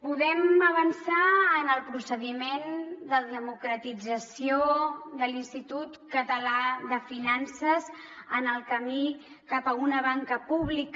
podem avançar en el procediment de democratització de l’institut català de finances en el camí cap a una banca pública